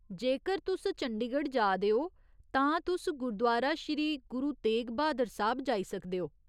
जेकर तुस चंदीगढ़ जा दे ओ, तां तुस गुरुदुआरा श्री गुरु तेग ब्हादर साह्ब जाई सकदे ओ।